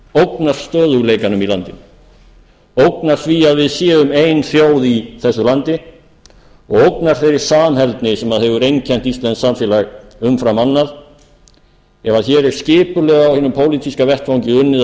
ógnar stöðugleikanum í landinu ógnar því að við séum ein þjóð í þessu landi og ógnar þeirri samheldni sem hefur einkennt íslenskt samfélag umfram annað ef hér er skipulega á hinum pólitíska vettvangi unnið að